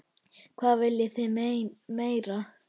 Hvað viljið þið meira?